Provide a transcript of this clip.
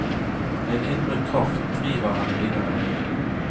En indre kraft driver henne videre.